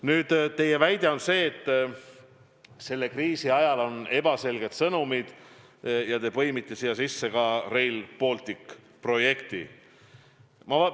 Nüüd, teie väide on, et kriisi ajal on olnud ebaselged sõnumid, ja te olete siia sisse põiminud ka Rail Balticu projekti.